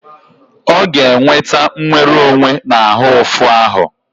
Ọ ga-enweta nwere onwe na ahụ ụfụ ahụ.